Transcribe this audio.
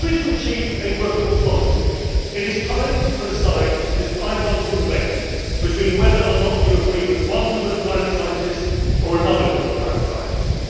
If we are to achieve a workable policy, it is time to put aside this ideological debate between whether or not you agree with one group of climate scientists or another group of climate scientists.